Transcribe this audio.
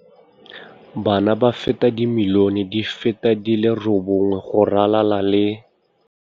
Bana ba feta dimilione di feta di le robongwe go ralala le.